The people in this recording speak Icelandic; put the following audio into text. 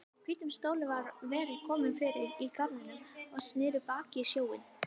Hvítum stólum hafði verið komið fyrir í garðinum og sneru baki í sjóinn.